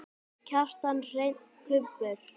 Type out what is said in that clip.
Kjartan Hreinn: Kubbur?